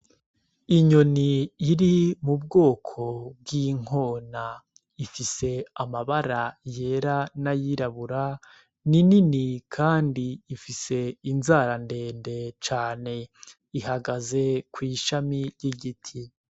Inyoni iri mu bwoko bw’inkona ifise amabara yera n'ayirabura, ni nini kandi ifise inzara nde nde cane ihagaze ku ishami ry’igiti.